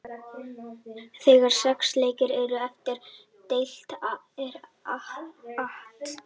Þegar sex leikir eru eftir af deildinni er At.